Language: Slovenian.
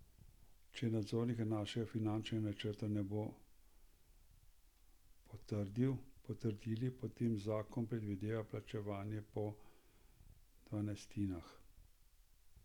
Če nadzorniki našega finančnega načrta ne bo potrdili, potem zakon predvideva plačevanje po dvanajstinah.